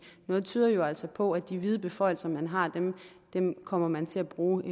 noget tyder jo altså på at de vide beføjelser man har kommer man til at bruge